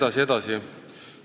Jne, jne.